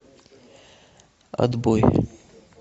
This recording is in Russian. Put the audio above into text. отбой